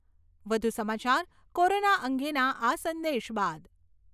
વધુ સમાચાર કોરોના અંગેના આ સંદેશ બાદ...